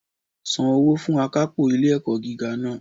San owó fun akápò ilé ẹ̀kọ́ gíga náà